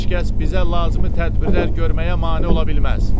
Heç kəs bizə lazımi tədbirlər görməyə mane ola bilməz.